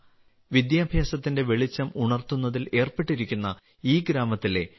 വിദ്യാഭ്യാസത്തിന്റെ വെളിച്ചം ഉണർത്തുന്നതിൽ ഏർപ്പെട്ടിരിക്കുന്ന ഈ ഗ്രാമത്തിലെ ശ്രീ